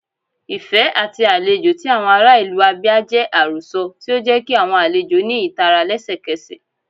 Ifẹ ati alejò ti awọn ara ilu Abia jẹ arosọ, ti o jẹ ki awọn alejo ni itara lẹsẹkẹsẹ.